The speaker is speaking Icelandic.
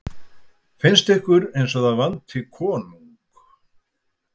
Finnst ykkur eins og það vanti konung?